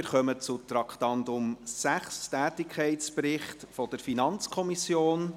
Wir kommen zum Traktandum 6, dem Tätigkeitsbericht der FiKo.